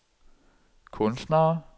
kunstnere